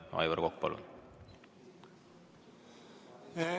Aivar Kokk, palun!